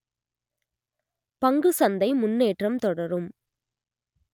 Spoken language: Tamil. பங்கு சந்தை முன்னேற்றம் தொடரும்